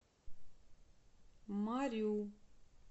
марю